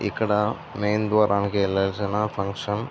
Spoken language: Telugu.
ఇక్కడ మెయిన్ ద్వారానికి వేళవాసినా ఫంక్షన్ --